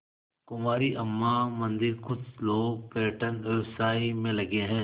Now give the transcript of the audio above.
कुमारी अम्मा मंदिरकुछ लोग पर्यटन व्यवसाय में लगे हैं